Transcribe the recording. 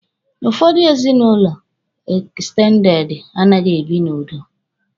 Ụfọdụ ezinụlọ ekstendede anaghị ebi n'udo.